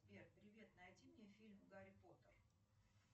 сбер привет найди мне фильм гарри поттер